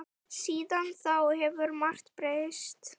Síðan þá hefur margt breyst.